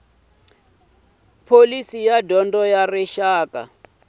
pholisi ya dyondzo ya rixaka